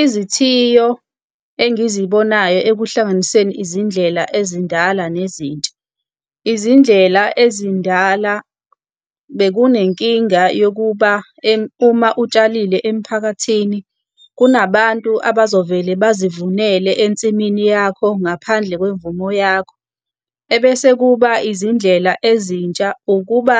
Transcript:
Izithiyo engizibonayo ekuhlanganiseni izindlela ezindala nezintsha. Izindlela ezindala bekunenkinga yokuba uma utshalile emiphakathini, kunabantu abazovele bazivuneke ensimini yakho ngaphandle kwemvumo yakho. Ebese kuba izindlela ezintsha, ukuba